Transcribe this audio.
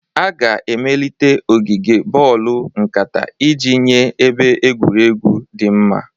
A ga-emelite ogige boolu nkata iji nye ebe egwuregwu dị mma.